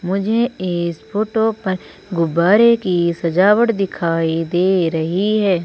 मुझे इस फोटो पर गुब्बारे की सजावट दिखाई दे रही है।